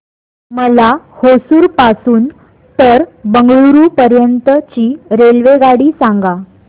मला होसुर पासून तर बंगळुरू पर्यंत ची रेल्वेगाडी सांगा